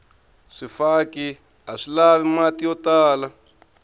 swifaki aswi lavi mati yo tala